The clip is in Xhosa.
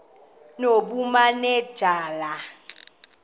nobumanejala